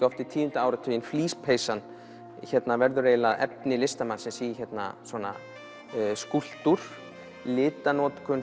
oft við tíunda áratuginn flíspeysan verður efni listamannsins í skúlptúr litanotkun